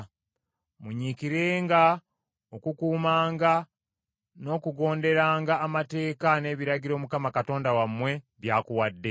Munyiikirenga okukuumanga n’okugonderanga amateeka n’ebiragiro Mukama Katonda wammwe by’akuwadde.